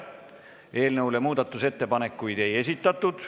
Eelnõu kohta muudatusettepanekuid ei esitatud.